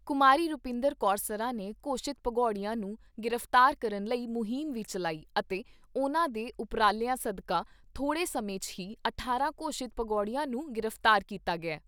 ਕੁਮਾਰੀ ਰੁਪਿੰਦਰ ਕੌਰ ਸਰਾਂ ਨੇ ਘੋਸ਼ਿਤ ਭਗੌੜਿਆਂ ਨੂੰ ਗ੍ਰਿਫਤਾਰ ਕਰਨ ਲਈ ਮੁਹਿੰਮ ਵੀ ਚੱਲਾਈ ਅਤੇ ਉਨ੍ਹਾਂ ਦੇ ਉਪਰਾਲਿਆਂ ਸਦਕਾਂ ਥੋੜੇ ਸਮੇਂ 'ਚ ਹੀ ਅਠਾਰਾਂ ਘੋਸ਼ਿਤ ਭਗੌੜਿਆਂ ਨੂੰ ਗ੍ਰਿਫਤਾਰ ਕੀਤਾ ਗਿਆ ।